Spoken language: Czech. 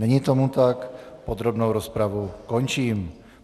Není tomu tak, podrobnou rozpravu končím.